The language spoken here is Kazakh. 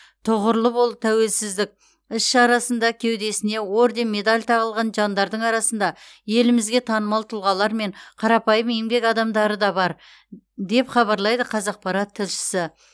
тұғырлы бол тәуелсіздік іс шарасында кеудесіне орден медаль тағылған жандардың арасында елімізге танымал тұлғалар мен қарапайым еңбек адамдары да бар деп хабарлайды қазақпарат тілшісі